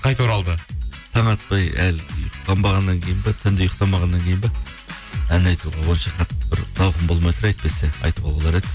қайта оралды таң атпай әлі ұйқы қанбағаннан кейін бе түнде ұйықтамағаннан кейін бе ән айтуға онша қатты бір зауқым болмай тұр әйтпесе айтуға болар еді